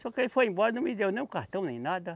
Só que ele foi embora, não me deu nem um cartão, nem nada.